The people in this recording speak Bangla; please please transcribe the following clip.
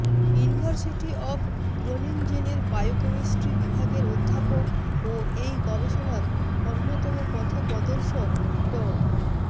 ইউনিভার্সিটি অব গ্রোনিনজেনের বায়োকেমিস্ট্রি বিভাগের অধ্যাপক ও এই গবেষণার অন্যতম পথপ্রদর্শক ড